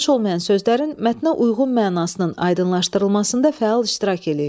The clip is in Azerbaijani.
Tanış olmayan sözlərin mətnə uyğun mənasının aydınlaşdırılmasında fəal iştirak eləyin.